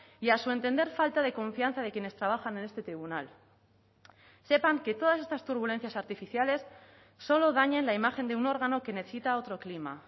y a su entender falta de confianza de quienes trabajan en este tribunal sepan que todas estas turbulencias artificiales solo dañan la imagen de un órgano que necesita otro clima